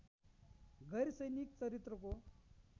गैह्र सैनिक चरित्रको